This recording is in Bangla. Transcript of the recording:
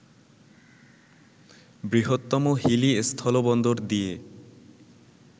বৃহত্তম হিলি স্থলবন্দর দিয়ে